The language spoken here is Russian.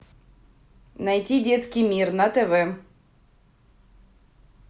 найти детский мир на тв